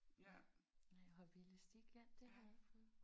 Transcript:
Nej hoppe i elastik ja det har jeg ikke prøvet